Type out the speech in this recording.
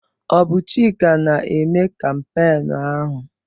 Ọ bụ Chika na-eme kampeenụ́ ahụ?